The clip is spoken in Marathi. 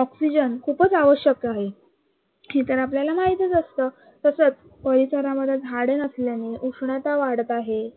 oxygen खूपच आवश्यक आहे, हे तर आपल्याला माहितीच असत. तसच परिसरामध्ये झाडं नसल्यामुळे उष्णता वाढत आहे.